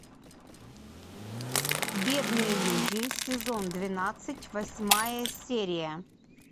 бедные люди сезон двенадцать восьмая серия